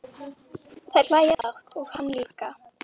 Þær hlæja dátt og hann líka.